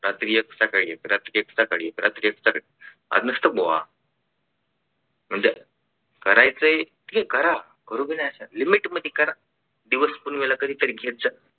रात्री एक सकाळी एक रात्री एक सकाळी एक रात्री एक सकाळी एक आज नुसतं बुवा म्हणजे करायचं ते करा करू भी नाही शकत limit मध्ये करा दिवस पुनमेला कधीतरी घेत जा.